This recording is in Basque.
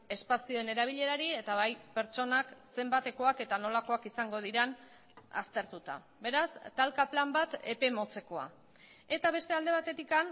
espazioen erabilerari eta bai pertsonak zenbatekoak eta nolakoak izango diren aztertuta beraz talka plan bat epe motzekoa eta beste alde batetik